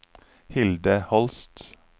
Hilde Holst